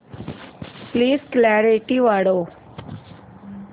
please clarity वाढव